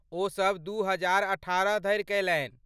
ओसब दू हजार अठारह धरि कयलनि।